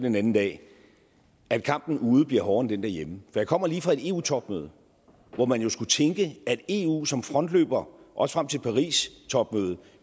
en anden dag at kampen ude bliver hårdere end den herhjemme jeg kommer lige fra et eu topmøde hvor man jo kunne tænke at eu som frontløber også frem til paristopmødet